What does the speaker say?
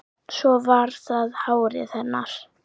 Svo var það hárið hennar.